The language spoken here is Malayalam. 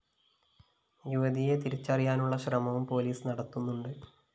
യുവതിയെ തിരിച്ചറിയാനുള്ള ശ്രമവും പോലീസ് നടത്തുന്നുണ്ട്